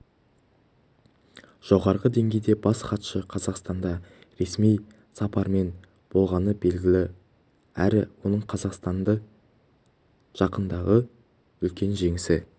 жоғары деңгейде бас хатшы қазақстанда ресми сапармен болғаны белгілі әрі оның қазақстанды жақындағы үлкен жеңісі